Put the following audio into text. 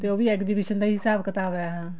ਤੇ ਉਹ ਵੀ exhibition ਦਾ ਹੀ ਹਿਸਾਬ ਕਿਤਾਬ ਹੈ